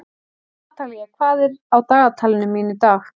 Natalía, hvað er á dagatalinu mínu í dag?